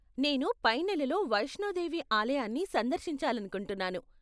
నేను పై నెలలో వైష్ణోదేవి ఆలయాన్ని సందర్శించాలనుకుంటున్నాను.